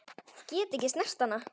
Get ekki snert hana.